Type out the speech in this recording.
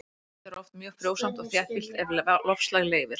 Landið er oft mjög frjósamt og þéttbýlt ef loftslag leyfir.